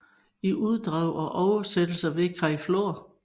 I uddrag og oversættelse ved Kai Flor